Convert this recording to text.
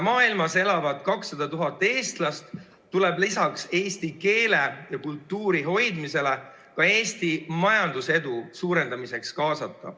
Maailmas elavat 200 000 eestlast tuleb lisaks eesti keele ja kultuuri hoidmisele ka Eesti majandusedu suurendamiseks kaasata.